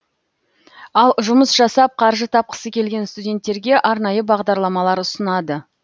ал жұмыс жасап қаржы тапқысы келген студенттерге арнайы бағдарламалар ұсынады